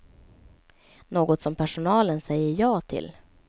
Något som personalen säger ja till.